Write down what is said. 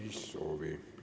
Ei soovi.